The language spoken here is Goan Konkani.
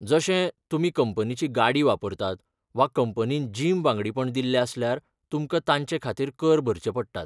जशें, तुमी कंपनीची गाडी वापरतात वा कंपनीन जिम वांगडीपण दिल्लें आसल्यार, तुमकां तांचे खातीर कर भरचे पडटात.